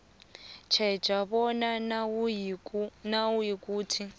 tjheja bona nayikuthi